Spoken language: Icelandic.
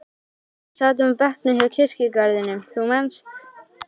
þegar við sátum á bekknum hjá kirkjugarðinum, þú manst.